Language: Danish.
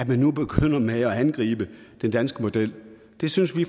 man nu begynder med at angribe den danske model det synes vi